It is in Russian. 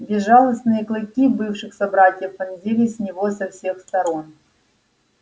безжалостные клыки бывших собратьев вонзались в него со всех сторон